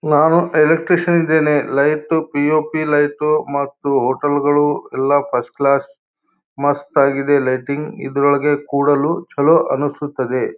ನಾನು ಎಲೆಕ್ಟ್ರಿಷಿಯನ್ ಇದ್ದೀನಿ light P O P light ಮತ್ತು ಹೋಟೆಲ್ಗಳು ಎಲ್ಲಾ ಫಸ್ಟ್ ಕ್ಲಾಸ್ ಮಸ್ತಾಗಿದೆ ಲೈಟಿಂಗ್ ಇದರೊಳಗೆ ಕೂರಲು ಚಲೋ ಅನ್ನಿಸುತ್ತಿದೆ.